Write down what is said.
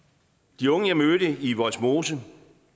de unge jeg mødte i vollsmose